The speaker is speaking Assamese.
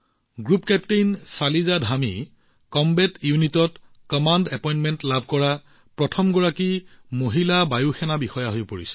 group captain Shaliza Dhami combat ইউনিটত কমাণ্ড এপইণ্টমেণ্ট লাভ কৰা প্ৰথম গৰাকী মহিলা বায়ু সেনা বিষয়া হৈ পৰিছে